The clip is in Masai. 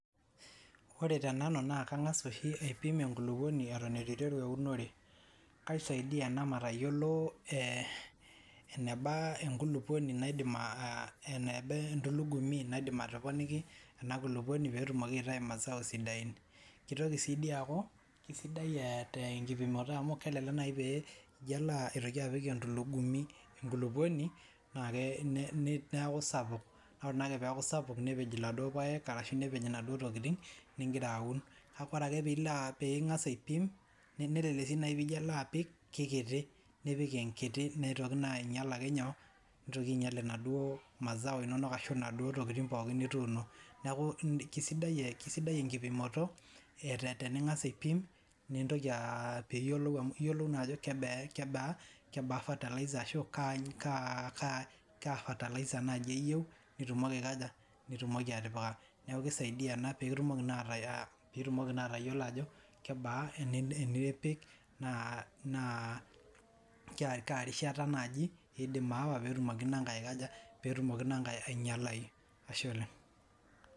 Ore tenanu naa kang'as oshi aipim enkulukuoni eton eitu aiteru eunore. Kaisaidia ena matayiolo eneba enkulupuoni naidim, eneba entulugumi naidim atoponiki ena kulupuoni pee etumoki aitayu mazao sidain. Kitoki sii doi aaku, kisidai tenkitingoto amu kelelek naaji pee ilo aitoki apik entulugumi enkulupuoni naa neeku sapik. Ore akee pee eaku sapuk nepej iladuo paek nepej inaduo tokitin ningira aun. Kake ore ake piilo piingas aipim lelelek naaji paa ore piilo apik, kikiti nipik enkiti neitoki naa ainyal ake nyoo nitoki ainyal inaduo mazao ashu naduoo tokitin pooki nituuno. Neaku kisidai enkipimoto teningas aipim nintoki naa iyiolou naa ajo kebaa fertilizer ashu kaa fertilizer naaji eyieu nitumoki aikaja nitumoki atipika. Neeku keisaidia ena pee kitumoki naa atayiolo ajo kebaa enipik naa kaa rishata naaji idim aawa pee etumoki inankae aikaja, pee etumoki inankae ainyalayu. Ashe oleng'.